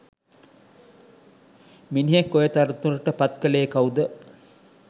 මිනිහෙක් ඔය තනතුරට පත්කලේ කව්ද?